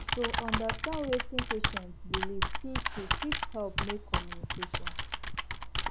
to understand wetin patient believe truetrue fit help make communication